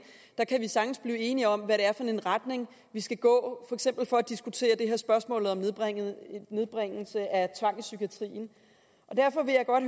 sagtens kan blive enige om hvad det er for en retning vi skal gå eksempel for at diskutere det her spørgsmål om nedbringelse nedbringelse af tvang i psykiatrien derfor vil jeg godt